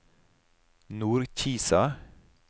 Nordkisa